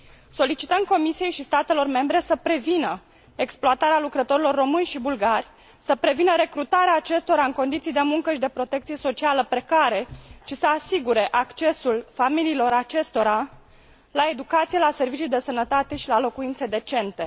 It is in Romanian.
Solicităm Comisiei și statelor membre să prevină exploatarea lucrătorilor români și bulgari, să prevină recrutarea acestora în condiții de muncă și de protecție socială precare și să asigure accesul familiilor acestora la educație, la servicii de sănătate și la locuințe decente.